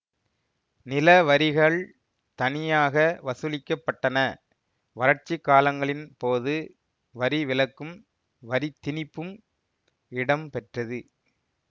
நிலவரிகள் தனியாக வசூலிக்கப்பட்டன வறட்சிக்காலங்களின் போது வரிவிலக்கும் வரித்திணிப்பும் இடம்பெற்றது